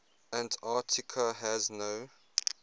antarctica has no